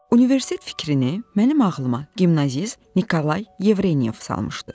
Universitet fikrini mənim ağlıma gimnazist Nikolay Yevrenyov salmışdı.